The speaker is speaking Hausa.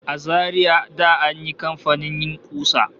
A Zaria da an yi kamfanin yin ƙusa